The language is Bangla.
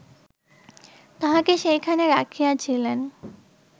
তাঁহাকে সেইখানে রাখিয়াছিলেন